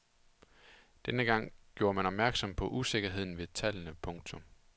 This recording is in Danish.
Dengang gjorde man opmærksom på usikkerheden ved tallene. punktum